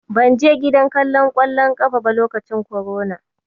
Ban je gidan kallon ƙwallon ƙafa ba lokacin korona.